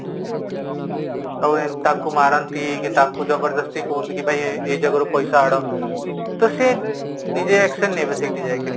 ଆଉ ଏମିତି ତାକୁ ମାରନ୍ତି କି ତାକୁ ଜବରଦସ୍ତି କୁହନ୍ତି କି ଭାଇ ଏଇ ଜାଗାରୁ ପଇସା ଆଣ ତ ସିଏ ନିଜ action ନେବ ଏସେଇଠି ଯାଇକିରି